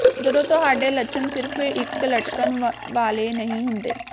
ਜਦੋਂ ਤੁਹਾਡੇ ਲੱਛਣ ਸਿਰਫ਼ ਇਕ ਲਟਕਣ ਵਾਲੇ ਨਹੀਂ ਹੁੰਦੇ